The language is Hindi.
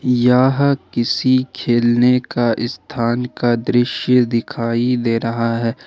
यह किसी खेलने का स्थान का दृश्य दिखाई दे रहा है।